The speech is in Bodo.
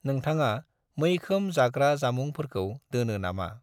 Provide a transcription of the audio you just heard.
नोंथाङा मैखोम जाग्रा जामुंफोरखौ दोनो नामा?